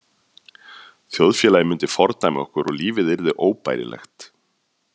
Þjóðfélagið myndi fordæma okkur og lífið yrði óbærilegt.